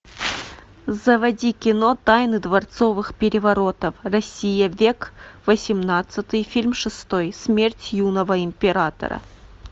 заводи кино тайны дворцовых переворотов россия век восемнадцатый фильм шестой смерть юного императора